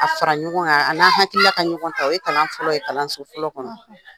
A fara ɲɔgɔn an'an hakili ka ɲɔgɔn ta o ye kalan fɔlɔ ye kalanso fɔlɔ kɔnɔ.